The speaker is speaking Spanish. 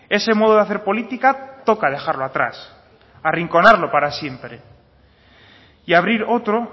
ese modo de hacer política toca dejarlo atrás arrinconarlo para siempre y abrir otro